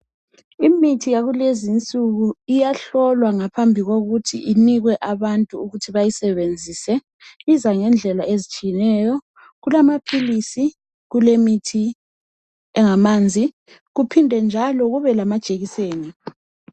Imithi yakulezinsuku iyahlolwa ngaphambi kokuthi inikwe abantu ukuthi bayisebenzise, iza ngendlela ezitshiyeneyo, kulamaphilisi, kulemithi engamanzi, kuphinde njalo kube lamajekiseni.